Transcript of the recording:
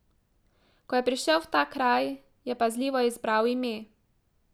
Ko je prišel v ta kraj, je pazljivo izbral ime.